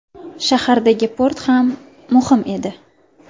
Shahardagi port ham muhim edi.